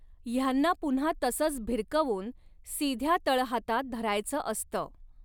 ह्यांना पुन्हा तसच भिरकवून, सीध्या तळहातात धरायच असत.